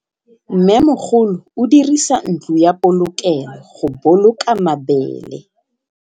Mmêmogolô o dirisa ntlo ya polokêlô, go boloka mabele.